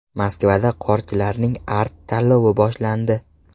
Moskvada qorchilarning Art-tanlovi boshlandi.